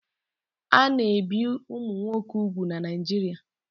A na-ebi ụmụ nwoke úgwù na Naijiria